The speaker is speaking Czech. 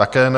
Také ne.